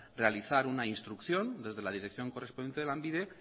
realizar una instrucción desde la dirección correspondiente de lanbide